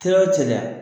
Teri o cɛ